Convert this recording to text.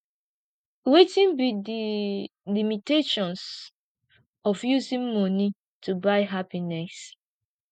wetin be di limitations of using money to buy happiness